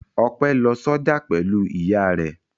Ọpẹ́ lọ sọ́jà pẹ̀lú ìyá rẹ̀.